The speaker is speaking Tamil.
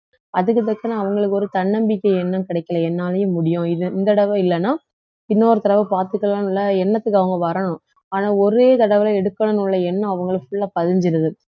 அவங்களுக்கு ஒரு தன்னம்பிக்கை எண்ணம் கிடைக்கல என்னாலயும் முடியும் இது இந்த தடவை இல்லன்னா இன்னொரு தடவை பாத்துக்கலாம்ல எண்ணத்துக்கு அவங்க வரணும் ஆனா ஒரே தடவையில எடுக்கணும்ன்னு உள்ள எண்ணம் அவங்களுக்குள்ள பதிஞ்சுருது